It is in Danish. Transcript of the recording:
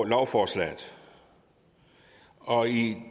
lovforslaget og i